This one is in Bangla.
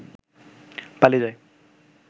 পালিয়ে যায়।